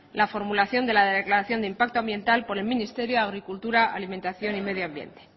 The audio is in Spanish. la formulación de la declaración de impacto ambiental por el ministerio de agricultura alimentación y medio ambiente